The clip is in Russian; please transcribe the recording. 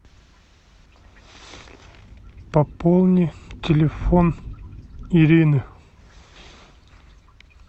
пополни телефон ирины